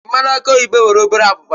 Mmanụ aki oyibo nwere obere abụba.